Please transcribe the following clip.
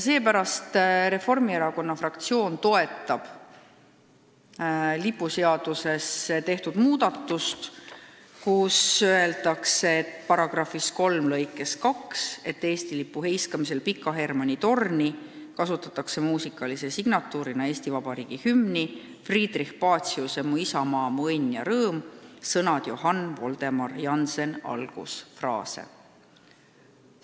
Seepärast toetab Reformierakonna fraktsioon lipuseaduses tehtud muudatust, et seaduse § 3 lõikes 2 öeldakse, et Eesti lipu heiskamisel Pika Hermanni torni kasutatakse muusikalise signatuurina Eesti Vabariigi hümni, Friedrich Paciuse "Mu isamaa, mu õnn ja rõõm" algusfraase.